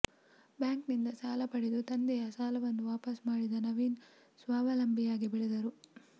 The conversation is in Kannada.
ಬ್ಯಾಂಕ್ನಿಂದ ಸಾಲ ಪಡೆದು ತಂದೆಯ ಸಾಲವನ್ನು ವಾಪಸ್ ಮಾಡಿದ ನವೀನ್ ಸ್ವಾವಲಂಬಿಯಾಗಿ ಬೆಳೆದರು